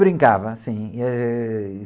Brincava, sim. Eh...